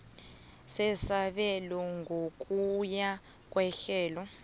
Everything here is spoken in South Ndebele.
sesabelo ngokuya kwehlelo